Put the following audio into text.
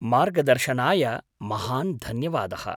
मार्गदर्शनाय महान् धन्यवादः।